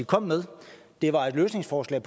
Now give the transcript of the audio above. kom med det var et løsningsforslag